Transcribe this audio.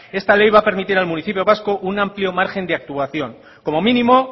esta ley va a permitir al municipio vasco un amplio margen de actuación como mínimo